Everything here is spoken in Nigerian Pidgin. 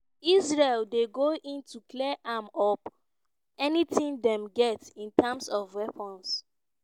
"israel dey go in to clear am up… anytin dem get in terms of weapons."